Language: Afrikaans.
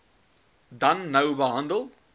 dan nou handel